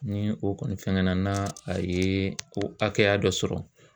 Ni o kɔni fɛngɛnna na a ye o hakɛya dɔ sɔrɔ